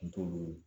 N t'olu ye